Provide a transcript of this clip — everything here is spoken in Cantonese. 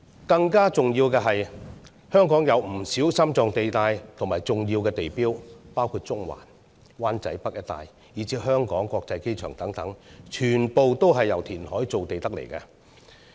更加重要的是，香港有不少心臟地帶和重要地標，包括中環、灣仔北一帶，以至香港國際機場等，全部都是由填海造地而來。